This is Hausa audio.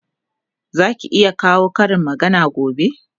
Zaki iya kawo Karin magana gobe?